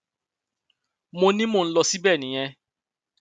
mo ní mò ń lọ síbẹ nìyẹn